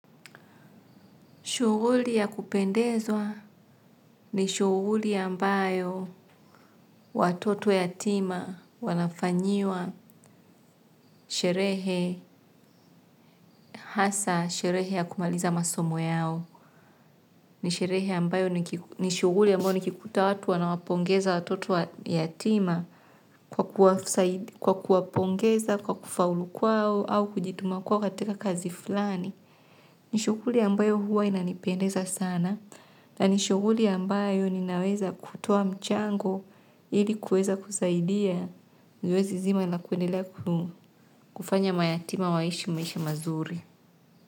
Shughuli ya kupendezwa ni shughuli ambayo watoto yatima wanafanyiwa sherehe, hasa sherehe ya kumaliza masomo yao. Ni shughuli mbayo nikikuta watu wanawapongeza watoto yatima kwa kuwapongeza, kwa kufaulu kwao au kujituma kwao katika kazi fulani. Ni shughuli ambayo huwa inanipendeza sana na nishughuli ambayo ninaweza kutoa mchango ili kuweza kusaidia zoezi zima na kuendelea kufanya mayatima waishi maishi mazuri.